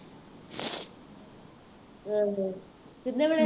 ਹਾਂ ਹਾਂ ਕਿਹਨੇ ਬਣਾਏ